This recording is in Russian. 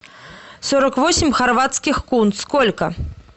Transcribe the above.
сорок восемь хорватских кун сколько